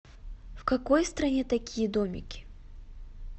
в какой стране такие домики